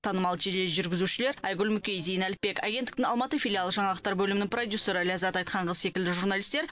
танымал тележүргізушілер айгүл мүкей зейін әліпбек агенттіктің алматы филиалы жаңалықтар бөлімінің продюсері ләззат айтханқызы секілді журналистер